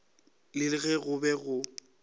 le ge go be go